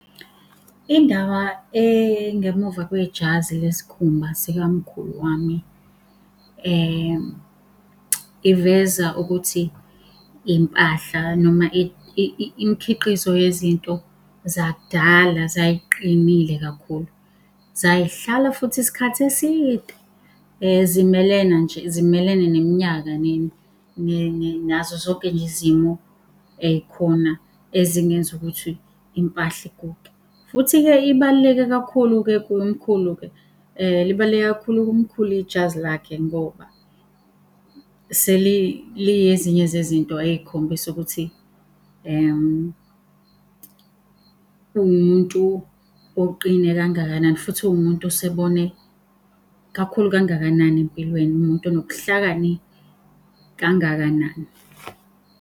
Indawo engemuva kwejazi lesikhumba sikamkhulu wami, iveza ukuthi impahla noma imikhiqizo yezinto zakudala zay'qinile kakhulu. Zay'hlala futhi isikhathi eside, zimelene nje zimelene neminyaka nazo zonke nje izimo ey'khona ezingenza ukuthi impahla iguge. Futhi-ke ibaluleke kakhulu-ke kumkhulu-ke libaluleke kakhulu kumkhulu ijazi lakhe, ngoba seli li ezinye zezinto ey'khombisa ukuthi uwumuntu oqine kangakanani, futhi uwumuntu osebone kakhulu kangakanani empilweni, umuntu onobuhlakani kangakanani.